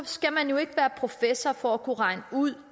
skal man jo ikke være professor for at kunne regne ud